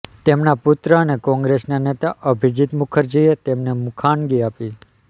તેમના પુત્ર અને કોંગ્રેસના નેતા અભિજીત મુખર્જીએ તેમને મુખાગ્નિ આપી